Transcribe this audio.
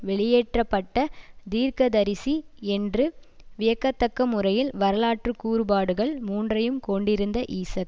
வெளியேற்ற பட்ட தீர்க்கதரிசி என்று வியக்கத்தக்க முறையில் வரலாற்று கூறுபாடுகள் மூன்றையும் கொண்டிருந்த ஈசக்